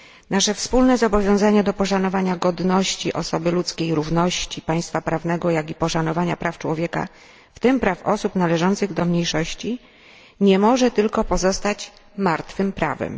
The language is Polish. Nasze wspólne zobowiązania do poszanowania godności osoby ludzkiej, równości, państwa prawnego jak i poszanowania praw człowieka, w tym praw osób należących do mniejszości, nie może tylko pozostać martwym prawem.